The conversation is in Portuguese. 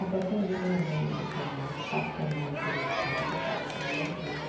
Até que um dia minha mãe não aguentou mais, passou a mão no telefone para falar com a mulher dele.